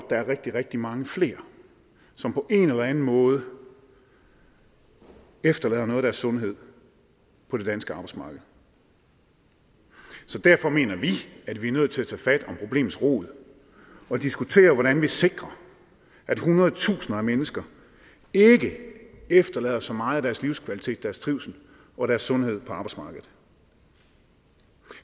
der er rigtig rigtig mange flere som på en eller anden måde efterlader noget af deres sundhed på det danske arbejdsmarked derfor mener vi at vi er nødt til at tage fat om problemets rod og diskutere hvordan vi sikrer at hundredetusinder af mennesker ikke efterlader så meget af deres livskvalitet og deres trivsel og deres sundhed på arbejdsmarkedet